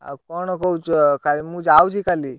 ଆଉ କଣ କହୁଛ? ମୁଁ ଯାଉଛି କାଲି।